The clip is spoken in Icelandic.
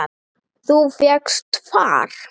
Þú fékkst far?